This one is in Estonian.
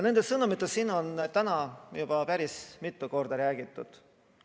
Nendest sõnumitest on täna juba päris mitu korda räägitud.